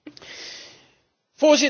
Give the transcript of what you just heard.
Het antwoord is helder.